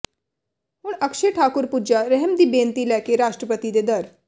ਹੁਣ ਅਕਸ਼ੇ ਠਾਕੁਰ ਪੁੱਜਾ ਰਹਿਮ ਦੀ ਬੇਨਤੀ ਲੈ ਕੇ ਰਾਸ਼ਟਰਪਤੀ ਦੇ ਦਰ